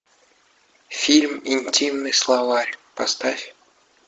фильм интимный словарь поставь